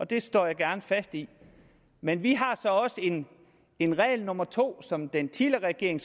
det står jeg gerne fast ved men vi har så også en en regel nummer to som den tidligere regering